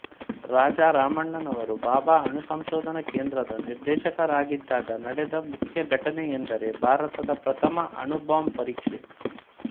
ರಾಜಾರಾಮಣ್ಣನವರು ಭಾಬಾ ಅಣು ಸಂಶೋಧನಾ ಕೇಂದ್ರದ ನಿರ್ದೇಶಕರಾಗಿದ್ದಾಗ ನಡೆದ ಮುಖ್ಯ ಘಟನೆಯೆಂದರೆ ಭಾರತದ ಪ್ರಥಮ ಅಣು ಬಾಂಬ್ ಪರೀಕ್ಷೆ